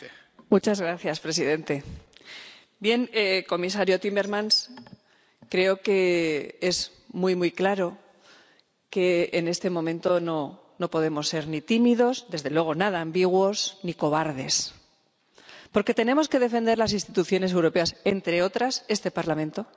Señor presidente, comisario Timmermans, creo que es muy claro que en este momento no podemos ser ni tímidos ni desde luego nada ambiguos ni cobardes. Porque tenemos que defender las instituciones europeas, entre otras, a este Parlamento,